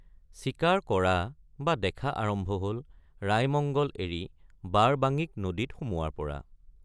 চিকাৰ কৰা বা দেখা আৰম্ভ হল ৰাইমঙ্গল এৰি বাৰবাঙিক নদীত সোমোৱাৰপৰা।